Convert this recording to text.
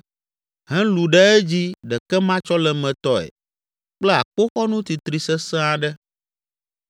helũ ɖe edzi ɖekematsɔlemetɔe kple akpoxɔnu titri sesẽ aɖe.